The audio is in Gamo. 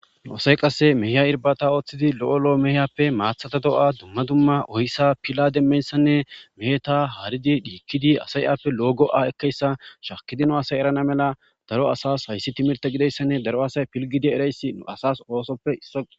nuasay qasse meeya irbata ooththidi lo7o lo7o meeyappe maathata do7a dumma dumma oyssa pila demmeyssanne meeta haridi dhiikkidi asayappe loogo7a ekkeyssa shakki dino asay erana mela daro asas hayssi timirta gideyssanne daro asay pilgidi erayssi n asas oosoppe isso